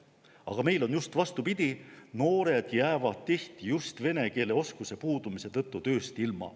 Aga meil on vastupidi: noored jäävad tihti just vene keele oskuse puudumise tõttu tööst ilma.